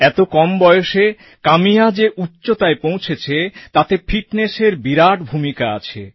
এত কম বয়সে কাম্যা যে উচ্চতায় পৌঁছেছে তাতে ফিটনেসএর বিরাট ভূমিকা আছে